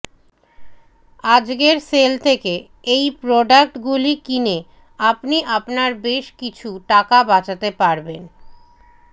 আজকের সেল থেকে এই প্রোডাক্ট গুলি কিনে আপনি আপনার বেশ কিছু টাকা বাচাতে পারবেন